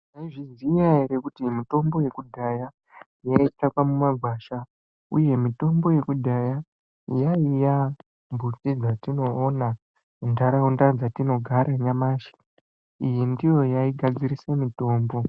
Maizviziva here kuti mitombo yekudhaya yaitsvakwa mumagwasha uye mitombo yekudhaya yaiva mbuti dzatinoona mundaraunda dzatinogara nyamashi iyi ndiyo yaigadzirirsa mitombo.